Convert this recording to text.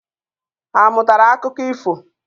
Ha amụtara akụkọ ifo?